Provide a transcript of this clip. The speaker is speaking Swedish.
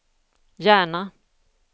Järna